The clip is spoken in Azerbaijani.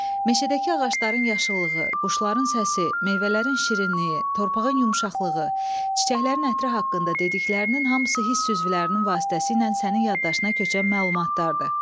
Meşədəki ağacların yaşıllığı, quşların səsi, meyvələrin şirinliyi, torpağın yumşaqlığı, çiçəklərin ətri haqqında dediklərinin hamısı hiss üzvlərinin vasitəsilə sənin yaddaşına köçən məlumatlardır.